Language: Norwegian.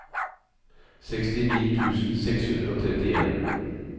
sekstini tusen seks hundre og trettien